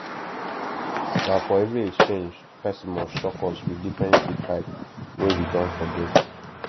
na for every exchange person must shock us with different seed type wey we don forget